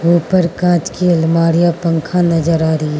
ऊपर कांच की अलमारियां पंखा नजर आ रही --